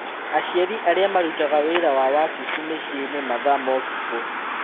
Aciari arĩa marutaga wĩra wa wabici mĩciĩnĩ mathaa motukũ